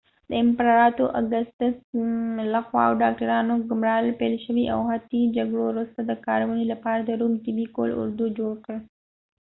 د امپراتور اګستس لخوا د ډاکټرانو ګمارل پیل شول او حتی د جګړو وروسته د کارونې لپاره د روم طبي قول اردو جوړ کړ